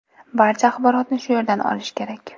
Barcha axborotni shu yerdan olish kerak.